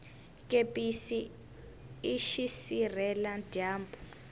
kepisi i xisirhela dyambu